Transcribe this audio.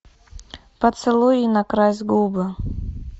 поцелуй и накрась губы